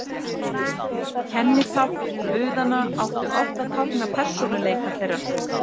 Kennitákn guðanna áttu oft að tákna persónuleika þeirra.